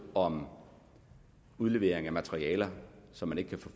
om udlevering af materialer som man